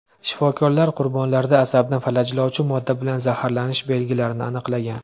Shifokorlar qurbonlarda asabni falajlovchi modda bilan zaharlanish belgilarini aniqlagan.